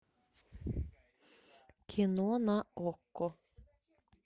кино на окко